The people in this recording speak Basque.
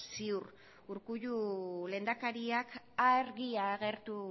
ziur urkullu lehendakariak argi agertu